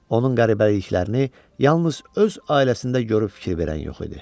Onun qəribəliklərini yalnız öz ailəsində görüb fikir verən yox idi.